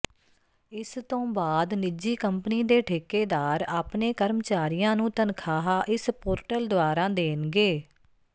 ਇਸ ਤੋਂ ਬਾਅਦ ਨਿਜੀ ਕੰਪਨੀ ਦੇ ਠੇਕੇਦਾਰ ਆਪਣੇ ਕਰਮਚਾਰੀਆਂ ਨੂੰ ਤਨਖਾਹ ਇਸ ਪੋਰਟਲ ਦੁਆਰਾ ਦੇਣਗੇ